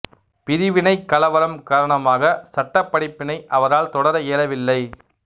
பிரிவினை கலவரம் காரணமாக சட்ட படிப்பினை அவரால் தொடர இயலவில்லை